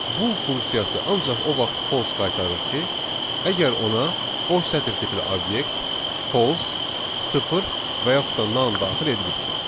Bull funksiyası ancaq o vaxt false qaytarır ki, əgər ona boş sətir tipli obyekt, false, sıfır və yaxud da none daxil edilibsə.